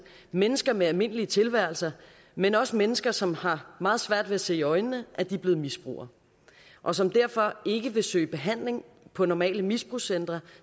mennesker med almindelige tilværelser men også mennesker som har meget svært ved at se i øjnene at de er blevet misbrugere og som derfor ikke vil søge behandling på normale misbrugscentre